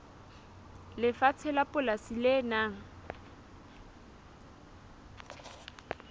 lefatshe la polasi le nang